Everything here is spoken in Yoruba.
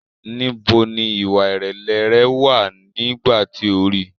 Níbo ni ìwà-ìrẹ̀lẹ̀ rẹ wà nígbà tí o rí í?